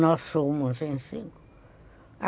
Nós somos em cinco.